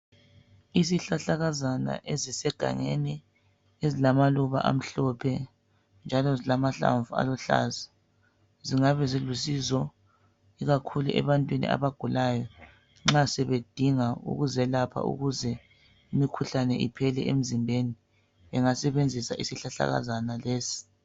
isihlahlakazana ezisegangeni ezilamaluba amhlophe njalo zilamahlamvu aluhlaza zingabezilusizo ikakhulu ebantwini abagulayo nxasebedinga ukuzelapha ukuze imikhuhlane iphele emzimbeni engasebenzisa isihlahlakazana lesi